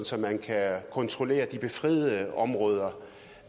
så man kan kontrollere de befriede områder